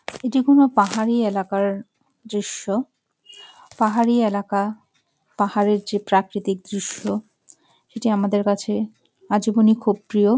এটি কোনো পাহাড়ি এলাকার দৃশ্য পাহাড়ি এলাকা পাহাড়ের যে প্রাকৃতিক দৃশ্য এটি আমাদের কাছে আজীবনই খুব প্রিয়।